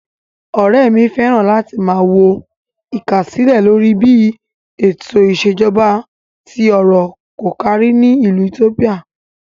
Ọ̀rẹ́ mi fẹ́ràn láti máa wo ìkásílẹ̀ lórí bí ètò ìṣèjọba tí ọrọ̀ kò kárí ni ìlú itiópíà.